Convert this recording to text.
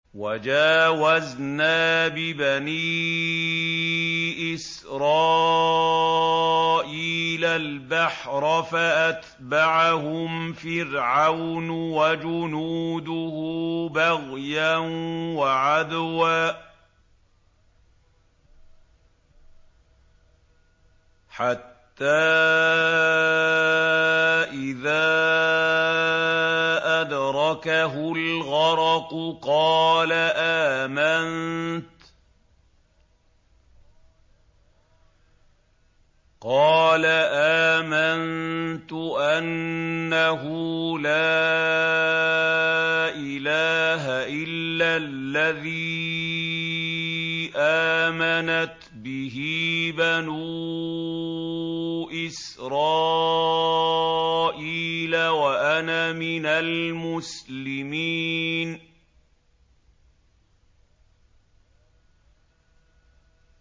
۞ وَجَاوَزْنَا بِبَنِي إِسْرَائِيلَ الْبَحْرَ فَأَتْبَعَهُمْ فِرْعَوْنُ وَجُنُودُهُ بَغْيًا وَعَدْوًا ۖ حَتَّىٰ إِذَا أَدْرَكَهُ الْغَرَقُ قَالَ آمَنتُ أَنَّهُ لَا إِلَٰهَ إِلَّا الَّذِي آمَنَتْ بِهِ بَنُو إِسْرَائِيلَ وَأَنَا مِنَ الْمُسْلِمِينَ